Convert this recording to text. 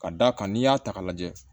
Ka d'a kan n'i y'a ta k'a lajɛ